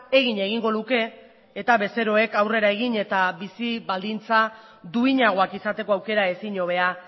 egin egingo luke eta bezeroek aurrera egin eta bizi baldintza duinagoak izateko aukera ezin hobea